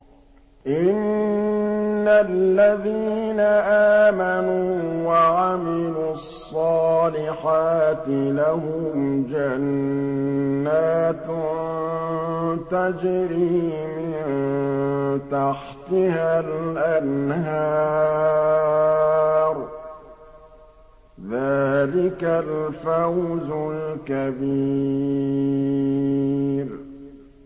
إِنَّ الَّذِينَ آمَنُوا وَعَمِلُوا الصَّالِحَاتِ لَهُمْ جَنَّاتٌ تَجْرِي مِن تَحْتِهَا الْأَنْهَارُ ۚ ذَٰلِكَ الْفَوْزُ الْكَبِيرُ